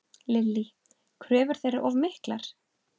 Lillý: Kröfur þeirra of miklar?